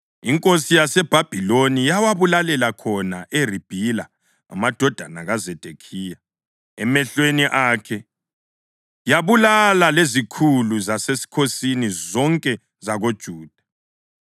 Inkosi yaseBhabhiloni yawabulalela khona eRibhila amadodana kaZedekhiya emehlweni akhe, yabulala lezikhulu zasesikhosini zonke zakoJuda.